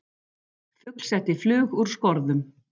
Fugl setti flug úr skorðum